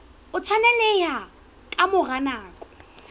o tshwaneleha ka mora nako